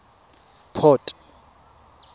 port